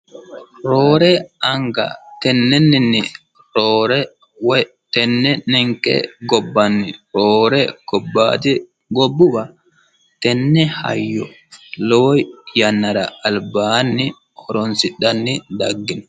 roore anga tennenninni roore woy tenne ninke gobbanni roore gobbaati gobbuwa tenne hayyo lowo yannara albaanni horonsidhanni dhagginno